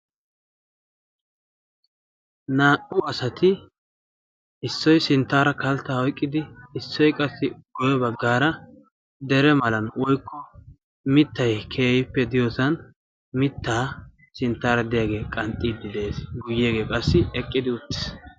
Naa"u asati issoy sinttaara kalttaa oyqqidi issoy qassi guye baggaara dere malan woykko mittay keehippe diyosan mittaa sinttaara diyagee qanxxiidi de'ees, guyeegee qassi eqqidi uttiis.